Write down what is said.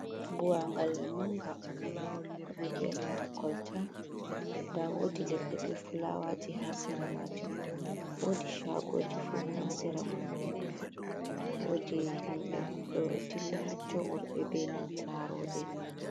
Buwangalal manga v kolta ,da wodi ledde be fulawaji ha sira matun ,wodi shagoji fu ha sira matun wodi himbe do dilla hattoworbe be nancarobe.